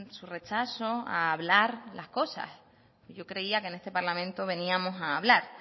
su rechazo a hablar las cosas yo creía que en este parlamento veníamos a hablar